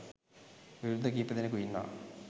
විරුද්ධ කීපදෙනකු ඉන්නවා.